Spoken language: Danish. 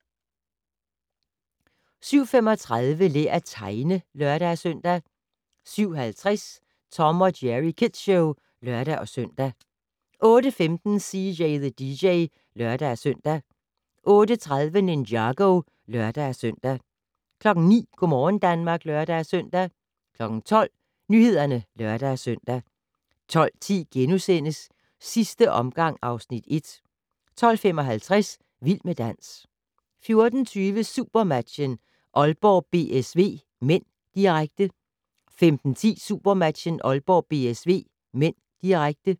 07:35: Lær at tegne (lør-søn) 07:50: Tom & Jerry Kids Show (lør-søn) 08:15: CJ the DJ (lør-søn) 08:30: Ninjago (lør-søn) 09:00: Go' morgen Danmark (lør-søn) 12:00: Nyhederne (lør-søn) 12:10: Sidste omgang (Afs. 1)* 12:55: Vild med dans 14:20: SuperMatchen: Aalborg-BSV (m), direkte 15:10: SuperMatchen: Aalborg-BSV (m), direkte